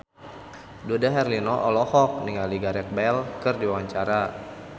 Dude Herlino olohok ningali Gareth Bale keur diwawancara